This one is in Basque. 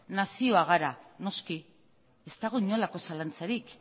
nazioa gara noski ez dago inolako zalantzarik